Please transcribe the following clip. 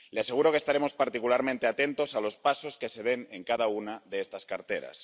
Le aseguro que estaremos particularmente atentos a los pasos que se den en cada una de estas carteras.